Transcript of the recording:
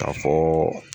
K'a fɔ